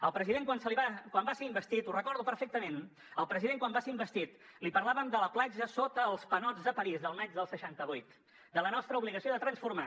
al president quan va ser investit ho recordo perfectament al president quan va ser investit li parlàvem de la platja sota els panots de parís del maig del seixanta vuit de la nostra obligació de transformar